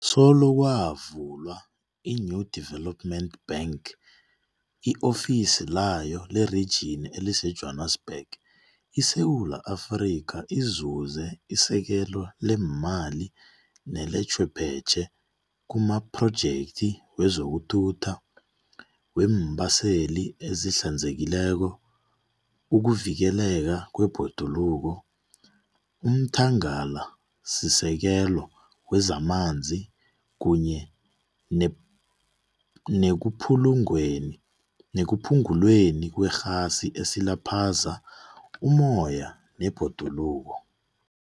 Solo kwavulwa iNew Deve lopment Bank, i-ofisi layo lerijini eliseJwanisbhege, iSewula Afrika izuze isekelo leemali nelechwephetjhe kumaphrojekthi wezokuthutha, weembaseli ezihlanzekileko, ukuvikeleka kwebhoduluko, umthanga lasisekelo wezamanzi kunye nekuphungulweni kwerhasi esilaphaza ummoya nebhoduluko.